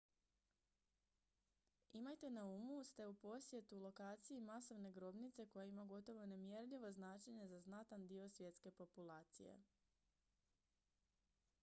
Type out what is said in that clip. imajte na umu ste u posjetu lokaciji masovne grobnice koja ima gotovo nemjerljivo značenje za znatan dio svjetske populacije